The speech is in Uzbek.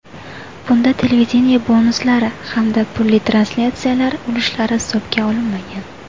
Bunda televideniye bonuslari hamda pulli translyatsiyalar ulushlari hisobga olinmagan.